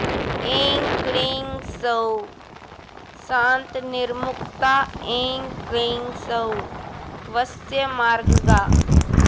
ऐं क्लीं सौः शान्तनिर्मुक्ता ऐं क्लीं सौः वश्यमार्गगा